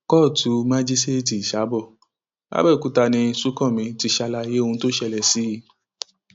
kóòtù májíṣẹẹtì ìsàbọ làbẹọkúta ni ọláṣúńkanmi ti ṣàlàyé ohun tó ṣẹlẹ sí i